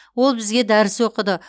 ол бізге дәріс оқыды